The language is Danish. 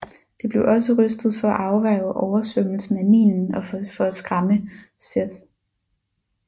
Det blev også rystet for at afværge oversvømmelsen af Nilen og for at skræmme Seth